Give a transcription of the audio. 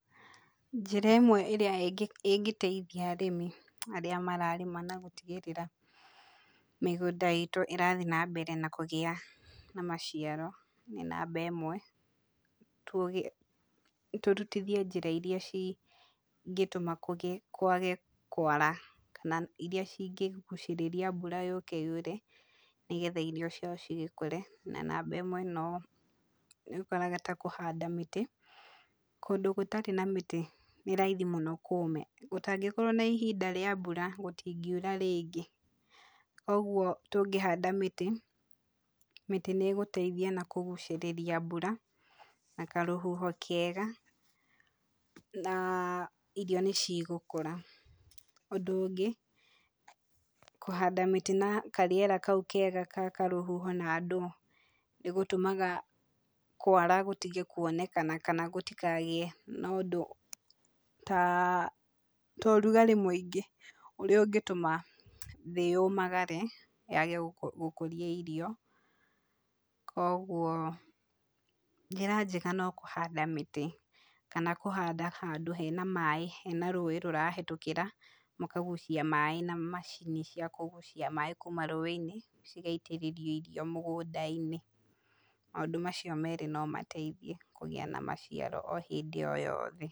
Njĩra ĩmwe ĩrĩa ĩngĩteithia arĩmi arĩa mararĩma na gũtigĩrĩra mĩgũnda itũ ĩrathiĩ nambere kũgĩa na maciaro, nĩ namba ĩmwe, tũrutithie njĩra iria cingĩtũma kũgĩe, kwage kwara, kana iria cingĩgucĩrĩria mbura yũke yure, nĩgetha irio ciao cigĩkũre, na namba ĩmwe no, nĩũkoraga ta kũhanda mĩtĩ, kũndũ gũtarĩ na mĩtĩ nĩ raithim mũno kũme. Gũtangĩkorwo nĩ ihinda rĩa mbura, gũtingiura rĩngĩ koguo tũngĩhanda mĩtĩ, mĩtĩ nĩĩgũtaithia nakũgucĩrĩria mbura, na karũhuho kega, na irio nĩcigũkũra. Ũndũ ũngĩ, kũhanada mĩtĩ na karĩera kau kega gakarũhoho na ndũ nĩgũtũmaga kwara gũtige kuonekana kana na ũndũ ta ũrugarĩ mũingĩ ũrĩa ũngĩtũma thĩ yũmagare yage gũkũria irio, koguo njĩra njega nokũhanda mĩtĩ kana kũhanda handũhena maaĩ, hena maaĩ marahĩtũkĩra makagucia maaĩ na macini cia kũgucia kuma rũĩ-inĩ, cigaitĩrĩrio irio mũgũnda-inĩ maũndũ macio merĩ nomataithie kũgĩa na maciaro o hĩndĩ o yothe.